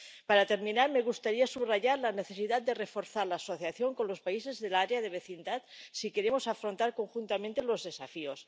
Para terminar, me gustaría subrayar la necesidad de reforzar la asociación con los países del área de vecindad, si queremos afrontar conjuntamente los desafíos.